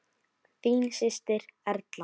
Þín systir, Erla.